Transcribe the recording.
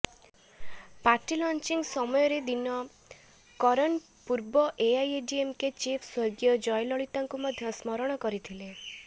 party launching ସମୟରେ ଦିନକରନ ପୂର୍ବ AIADMK chief ସ୍ବର୍ଗୀୟା ଜୟଲଲିତାଙ୍କୁ ମଧ୍ୟ ସ୍ମରଣ କରିଥିଲେ